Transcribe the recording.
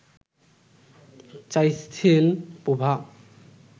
চাইছেন প্রভা